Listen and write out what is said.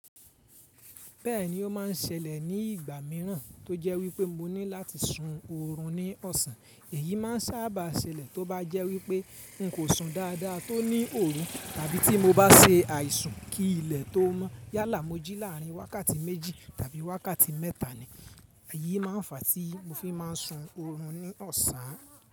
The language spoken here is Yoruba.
Bẹ́ẹ̀ni ó máa ń ṣẹlẹ̀ ní ìgbà míràn tó jẹ́ wípé mo ní láti sun oorun ní ọ̀sán. Èyí máa ń sábà ṣẹlẹ̀ tó bá jẹ́ wípé n kò sun dáadáa tó ní òru tàbí tí mo bá se àìsùn kí ilẹ̀ tó mọ́. Yálà mó jí láàrin wákàtí méjì tàbí wákàtí mẹ́ta ni. Èyí máa ń fà á tí mo fi máa ń sun oorun ní ọ̀sán.